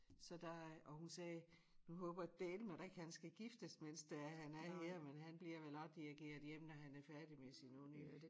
Så der og hun sagde nu håber jeg dælme da ikke han skal giftes mens det er han er her men han bliver vel også dirigeret hjem når han er færdig med sin uni